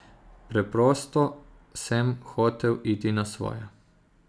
Preprosto sem hotel iti na svoje.